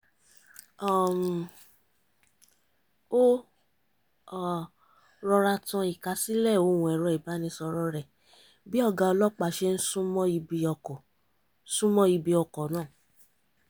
um ó rọra tan ìkásílẹ̀ ohùn ẹ̀rọ ìbánisọ̀rọ̀ rẹ̀ bí ọ̀gá ọlọ́pàá ṣe ń súnmọ́ ibi ọkọ̀ súnmọ́ ibi ọkọ̀ náà